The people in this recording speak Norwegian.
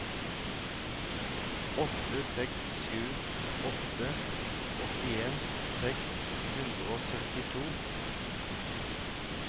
åtte seks sju åtte åttien seks hundre og syttito